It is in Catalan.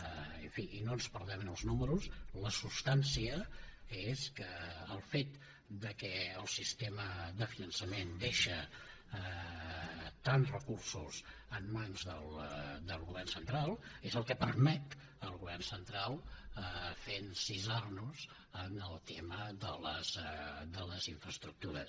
en fi i no ens perdem en els números la substància és que el fet que el sistema de finançament deixa tants recursos en mans del govern central és el que permet al govern central fer encisar nos en el tema de les infraestructures